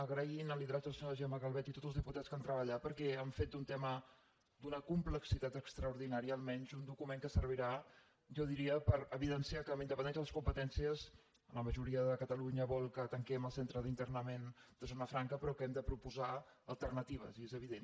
agrair el lideratge de la senyora gemma calvet i tots els diputats que hi han treballat perquè han fet d’un tema d’una complexitat extraordinària almenys un document que servirà jo diria per evidenciar que amb independència de les competències la majoria de catalunya vol que tanquem el centre d’internament de zona franca però que hem de proposar alternatives i és evident